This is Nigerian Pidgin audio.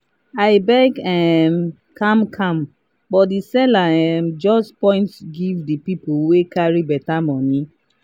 i beg um calm calm but the seller um just point give the people wey carry better money.